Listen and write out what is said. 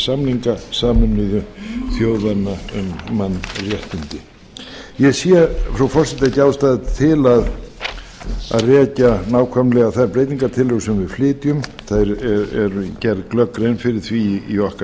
samninga sameinuðu þjóðanna um mannréttindi ég sé frú forseti ekki ástæðu til að rekja nákvæmlega þær breytingartillögur sem við flytjum það er gerð glögg grein fyrir því í okkar